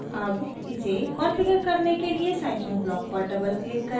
अब इसे कॉन्फ़िगर करने के लिए scifunc ब्लॉक पर डबल क्लिक करें